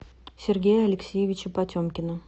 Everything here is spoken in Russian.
сергея алексеевича потемкина